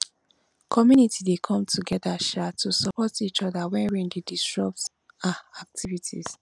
community dey come together um to support each oda wen rain dey disrupt um activities